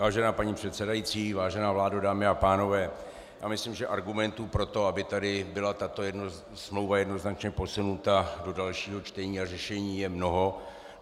Vážená paní předsedající, vážená vládo, dámy a pánové, já myslím, že argumentů pro to, aby tady byla tato smlouva jednoznačně posunuta do dalšího čtení a řešení, je mnoho.